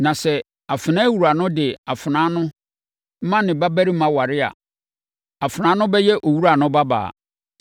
Na sɛ afenaawura no de afenaa no ma ne babarima aware a, afenaa no bɛyɛ owura no babaa.